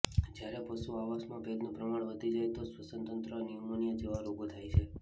જયારે પશુ આવાસમાં ભેજનું પ્રમાણ વધી જાય તો શ્વસનતંત્રમાં ન્યુમોનિયા જેવા રોગો થાય છે